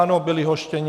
Ano, byli hoštěni.